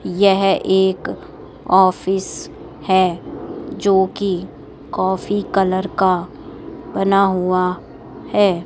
यह एक ऑफिस है जो की कॉफी कलर का बना हुआ है।